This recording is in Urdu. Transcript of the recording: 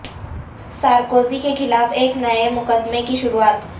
سارکوزی کے خلاف ایک نئے مقدمے کی شروعات